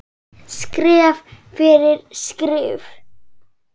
Skref fyrir skrif.